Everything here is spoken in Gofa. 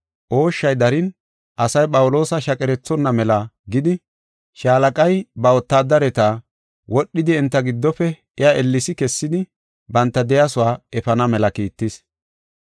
Ooshshay darin asay Phawuloosa shaqerethonna mela gidi, shaalaqay ba wotaadareti wodhidi enta giddofe iya ellesi kessidi banta de7iyasuwa efana mela kiittis.